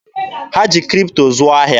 Ha ji Kripto zụọ ahịa.